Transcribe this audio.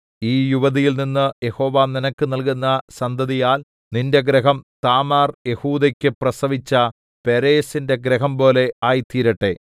ഈ യുവതിയിൽനിന്നു യഹോവ നിനക്ക് നല്കുന്ന സന്തതിയാൽ നിന്റെ ഗൃഹം താമാർ യെഹൂദെക്കു പ്രസവിച്ച പേരെസിന്റെ ഗൃഹം പോലെ ആയിത്തീരട്ടെ